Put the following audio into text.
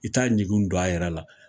I t taa ɲugun don a yɛrɛ la